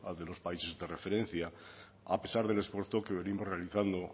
de los países de referencia a pesar del esfuerzo que venimos realizando